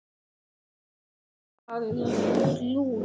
Hún berst við óttann.